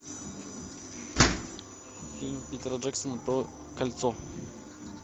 фильм питера джексона про кольцо